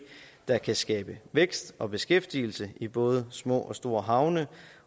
der kan skabe vækst og beskæftigelse i både små og store havne